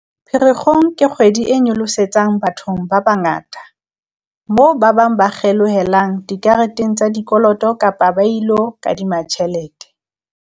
"Pherekgong ke kgwedi e nyolosetsang bathong ba bangata, moo ba bang ba kgelohelang dikareteng tsa dikoloto kapa ba ilo kadima tjhelete."